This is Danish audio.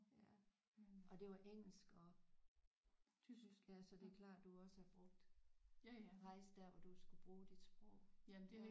Ja og det var engelsk og tysk ja så det er klart du også har brugt rejse der hvor du skulle bruge dit sprog ja